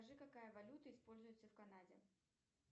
скажи какая валюта используется в канаде